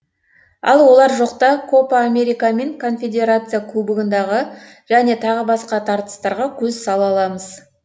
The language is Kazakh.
ал олар жоқта копа америка мен конфедерация кубогындағы және тағы басқа тартыстарға көз сала аламыз